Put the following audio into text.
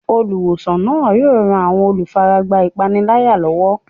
Olùwòsàn náà yóò ran àwọn olùfaragbá ìpániláyà lọ́wọ́.